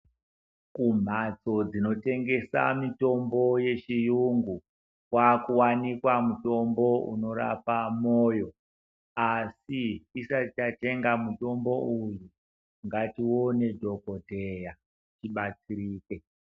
Kumhatso dzinotengesa mitombo yechiyungu kwakuwanikwa mutombo unorapa moyo asi tisati tatenga mutombo uyu ngatione dhokodheya tibatsirike.